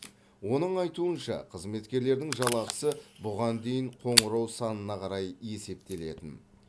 оның айтуынша қызметкерлердің жалақысы бұған дейін қоңырау санына қарай есептелетін